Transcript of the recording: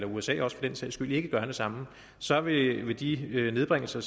usa for den sags skyld ikke gør det samme så vil vil de nedbringelser